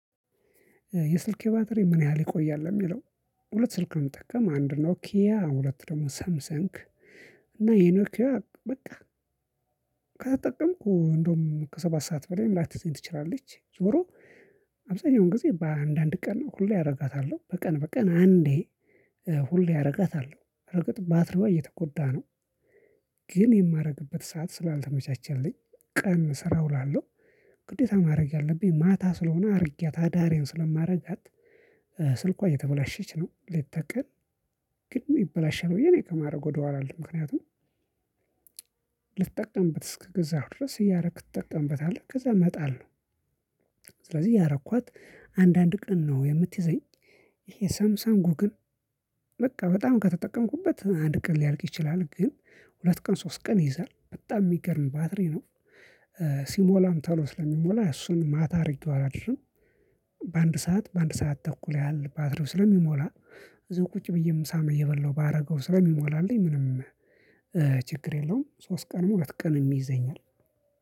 የስልክህ ባትሪ ምን ያህል ይቆያል ለሚለው? ሁለት ስልክ ነው መጠቀም አንድ ኖኪያ ሁለት ደግሞ ሳምሰንግ እና የኖኪያዋ በቃ ከተጠቀምኩ እንደውም ከሰባት ሰዓት በላይም ላትይዘኝ ትችላለች። ዞሮ አብዛኛውን ጊዜ በአንዳንድ ቀን ሁሌ ያደርጋታለሁ በቀን በቀን አንዴ ሁሌ አረጋታለሁ በርግጥ ባትሪዋ እየተጎዳ ነው። ግን የማደርግበት ሰዓት ስላልተመቻቸልኝ ቀን ስራ እውላለሁ። ግዴታ ማድረግ ያለብኝ ማታ ስለሆነ አድርጊያት አዳሬን ስለማደርጋት ስልኳ እየተበላሸች ነው። ሌት ተቀን ግን ይበላሻል ብዬ እኔ ከማድረግ ወደኋላ አልልም ምክንያቱም ልትጠቀምበት እስከገዛህው ድረስ እያደረክ ትጠቀምበታለህ ከዛ መጣል ነው። ስለዚህ እያረኳት አንድ አንድ ቀን ነው የምትይዘኝ። ይሄ ሳምሰንጉ ግን በቃ በጣም ከተጠቀምኩበት አንድ ቀን ሊያልቅ ይችላል ግን ሁለት ቀን ሶስት ቀን ይይዛል በጣም የሚገርም ባትሪ ነው። ሲሞላም ቶሎ ስለሚሞላ እሱን ማታ አድርጌው አላድርም። በአንድ ሰዓት በአንድ ሰዓት ተኩል ያህል ባትሪው ስለሚሞላ እዛ ቁጭ ብዬ ምሳም እበላው ባደረገውም ስለሚሞላልኝ ችግር የለውም። ሶስት ቀን ሁለት ቀን የሚይዘኝ